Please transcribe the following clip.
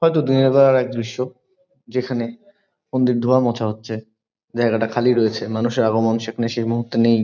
হয়তো দিনের বেলার এক দৃশ্য যেখানে মন্দির ধোয়া মোছা হচ্ছে। জায়গাটা খালি রয়েছে। মানুষের আগমন সেখানে সেই মুহূর্তে নেই।